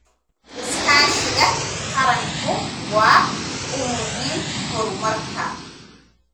Iskaashiga qaranku waa u muhiim horumarka.